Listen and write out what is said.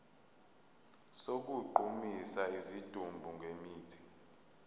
sokugqumisa isidumbu ngemithi